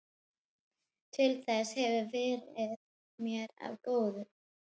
Til þess hefurðu verið mér of góð.